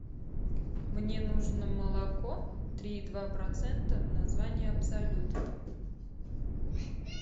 мне нужно молоко три и два процента название абсолют